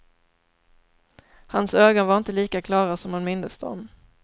Hans ögon var inte lika klara som hon mindes dem.